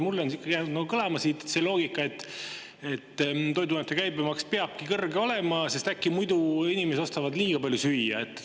Mulle on jäänud kõlama see loogika, et toiduainete käibemaks peabki kõrge olema, sest äkki muidu inimesed ostavad liiga palju süüa.